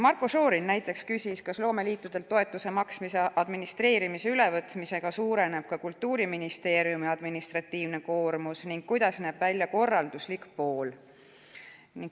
Marko Šorin näiteks küsis, kas loomeliitudelt toetuse maksmise administreerimise ülevõtmisega suureneb ka Kultuuriministeeriumi administratiivne koormus ning kuidas näeb välja korralduslik pool.